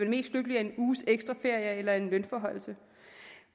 mest lykkelig af en uges ekstra ferie eller af en lønforhøjelse